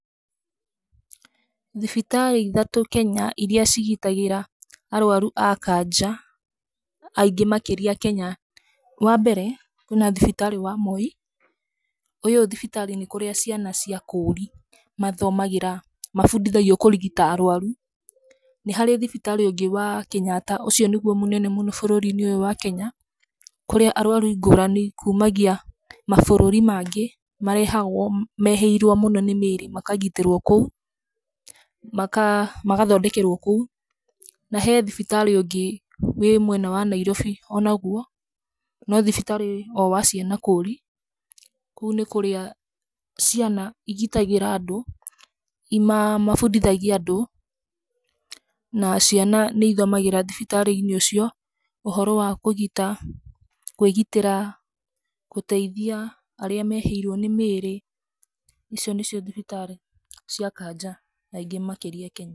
Thibitarĩ ithatũ Kenya iria cigitagĩra arũaru a kanja aingĩ makĩria Kenya, wa mbere kwĩna thibitarĩ wa Moi. Ũyũ thibitarĩ nĩ kũrĩa ciana cia kũũri mathomagĩra, mabundithagio kũrigita arũaru. Nĩ harĩ thibitarĩ ũngĩ wa Kenyatta, ũcio nĩguo mũnene mũno bũrũri-inĩ wa Kenya, kũrĩa arũaru ngũrani kuumagia nginya mabũrũri mangĩ marehagwo meĩhĩirwo mũno nĩ mĩĩrĩ makagitĩrwo kũu, magathondekerwo kũu. Na he thibitarĩ ũngĩ wĩ mwena wa Nairobi o naguo, no thibitarĩ o wa ciana kũũri. Kũu nĩ kũria ciana igitagĩra andũ mabundithagia andũ, na ciana nĩ ithomagĩra thibitarĩ-inĩ ũcio ũhoro wa kũgita kũigitĩra, gũteithia arĩa meĩhĩirwo nĩ mĩĩrĩ. Icio nĩ cio thibitarĩ cia kanja na ingĩ makĩria Kenya.